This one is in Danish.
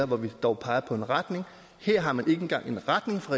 hvor vi dog peger på en retning her har man ikke engang en retning fra